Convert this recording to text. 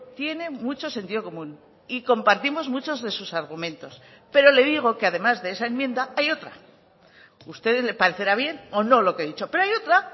tiene mucho sentido común y compartimos muchos de sus argumentos pero le digo que además de esa enmienda hay otra a ustedes le parecerá bien o no lo que he dicho pero hay otra